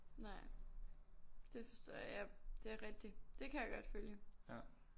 Nej det forstår jeg det er rigtigt det kan jeg godt følge